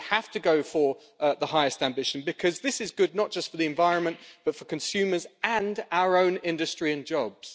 We have to go for the highest ambition because this is good not just for the environment but for consumers and our own industry and jobs.